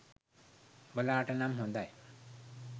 උබලාට නම් හොදයි